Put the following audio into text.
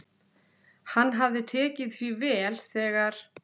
Hann hafði tekið því vel, þegar